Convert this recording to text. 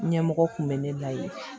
Ɲɛmɔgɔ kun bɛ ne la yen